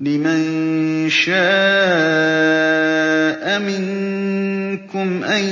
لِمَن شَاءَ مِنكُمْ أَن